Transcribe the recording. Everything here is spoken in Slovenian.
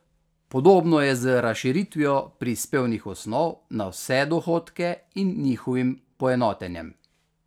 Podobno je z razširitvijo prispevnih osnov na vse dohodke in njihovim poenotenjem.